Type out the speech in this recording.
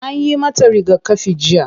Anyi mata rigakafi jiya.